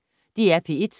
DR P1